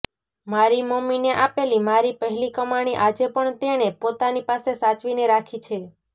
મારી મમ્મીને આપેલી મારી પહેલી કમાણી આજેપણ તેણે પોતાની પાસે સાચવીને રાખી છે